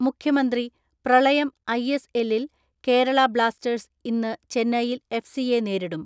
മുഖ്യമന്ത്രി, പ്രളയം ഐ.എസ് എല്ലിൽ കേരള ബ്ലാസ്റ്റേഴ്സ് ഇന്ന് ചെന്നൈയിൻ എഫ് സിയെ നേരിടും.